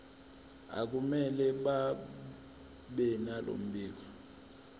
akumele babenalo mbiko